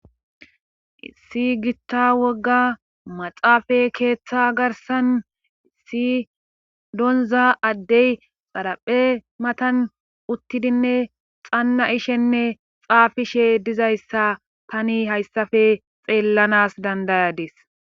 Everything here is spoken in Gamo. issi gitta wogga maxaafa keeththa garsan issi donza addey xaraphe matan uttidinne xannaishenne xaafishe dizayssa tani hayssafe xeellanas dandayadis